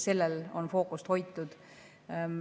Sellel on fookust hoitud.